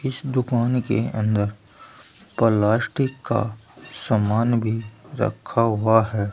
इस दुकान के अंदर प्लास्टिक का सामान भी रखा हुआ है।